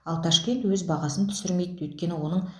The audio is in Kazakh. ал ташкент өз бағасын түсірмейді өйткені оның